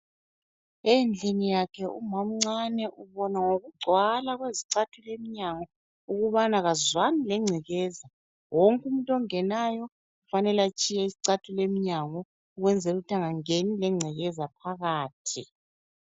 Endlini yakhe umamncane ubona ngokugcwala kwezicathulo emnyango ukubana akazwani lengcekeza. Wonke umuntu ongenayo ufanele atshiye izicathulo emnyango ukuze angangeni lengcekeza phakathi.